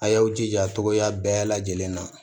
A y'aw jija togoya bɛɛ lajɛlen na